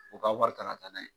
O ka wari ta ka taa